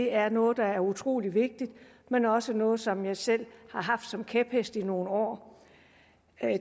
er noget der er utrolig vigtigt men også er noget som jeg selv har haft som kæphest i nogle år